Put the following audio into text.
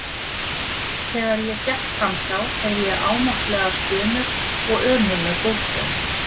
Þegar ég gekk fram hjá heyrði ég ámáttlegar stunur og ömurleg búkhljóð.